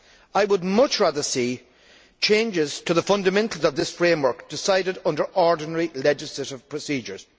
I would much rather see changes to the fundamentals of this framework decided under ordinary legislative procedures.